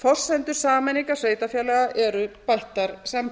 forsenda sameiningar sveitarfélaga eru bættar samgöngur þetta var sem sagt hluti